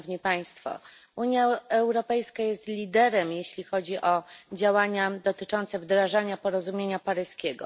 Unia Europejska jest liderem, jeśli chodzi o działania dotyczące wdrażania porozumienia paryskiego.